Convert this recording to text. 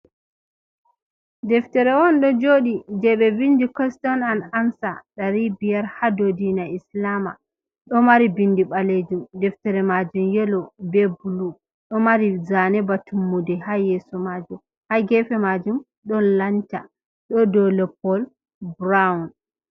Deftere on ɗo jooɗi je ɓe vindi koston han amsa ɗari biyar ha dou diina islama, ɗo mari bindi ɓaleejum, deftere majum yeelo be bulu ɗo mari zane ba tummude ha yeeso majum, ha geefe majum ɗon lanta ɗo dou loppol burown.